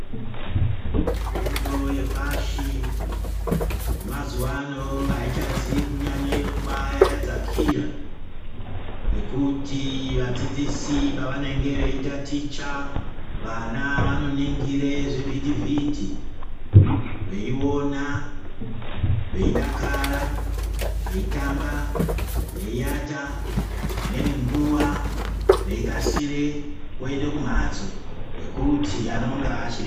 Fundo yepashi yamazuwa ano haichizi kubayanyanye kubayadzakira. Ngekuti vadzidzisi pavanenge veitaticha vana vanoningire zvivhiti-vhiti. Veiona, veidakara, veitamba, veiata dzimweni nguva veikasire kuende kumhatso nokuti anonga achiri...